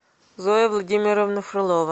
зоя владимировна фролова